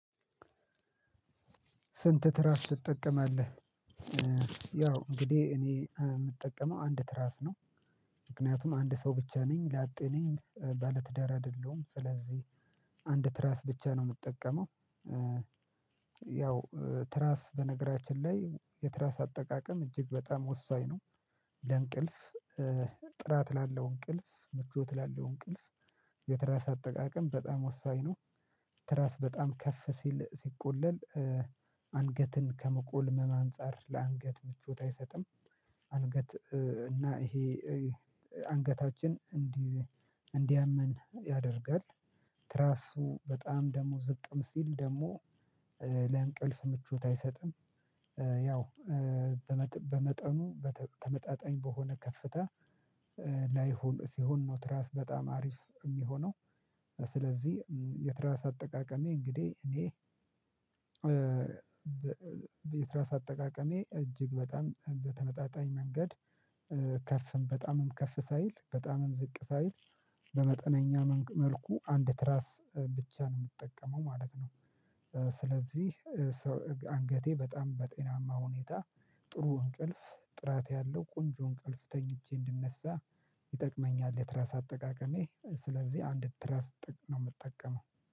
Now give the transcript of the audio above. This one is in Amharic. ስንት ትራስ ትጠቀማለህ? ያው እንግዲህ እኔ የምጠቀመው አንድ ትራስ ነው። ምክንያቱም አንድ ሰው ብቻ ነኝ ላጤ ነኝ ባለትዳር አይደለሁም ስለዚህ አንድ ትራስ ብቻ ነው የምጠቀመው። ያው ትራስ በነገራችን ላይ የትራስ አጠቃቀም እጅግ በጣም ወሳኝ ነው። ለእንቅልፍ ጥራት ላለው እንቅልፍ ምቾት ላለው እንቅልፍ። የትራስ አጠቃቀም በጣም ወሳኝ ነው። ትራስ በጣም ከፍ ሲል ሲቆለል አንገትን ከመቆልመም አንፃር ለአንገት ምቾት አይሰጥም። አንገት እና ይሄ አንገታችን እንዲያመን ያደርጋል። ትራሱ በጣም ደግሞ ዝቅም ሲል ደግሞ ለእንቅልፍ ምቹት አይሰጥም። ያው በመጠኑ በተመጣጣኝ በሆነ ከፍታ ላይ ሲሆን ነው ትራስ በጣም አሪፍ የሚሆነው። ስለዚህ የትራስ አጠቃቀሜ እንግዲህ እኔ የትራስ አጠቃቀሜ እጅግ በጣም በተመጣጣኝ መንገድ ከፍም በጣምም ከፍ ሳይል በጣምም ዝቅ ሳይል በመጠነኛ መልኩ አንድ ትራስ ብቻ ነው የምጠቀመው ማለት ነው። ስለዚህ አንገቴ በጣም በጤናማ ሁኔታ ጥሩ እንቅልፍ ጥራት ያለው ቆንጆ እንቅልፍ ተኝቼ እንድነሳ ይጠቅመኛል። የትራስ አጠቃቀሜ ስለዚህ አንድ ትራስ ነው የምጠቀመው